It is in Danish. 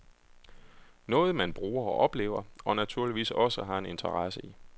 Noget man bruger og oplever, og naturligvis også har en interesse i.